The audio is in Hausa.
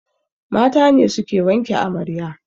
Mata ne suke wanke amarya